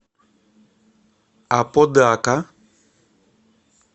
аподака